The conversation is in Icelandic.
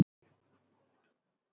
Gunnar og Þórdís.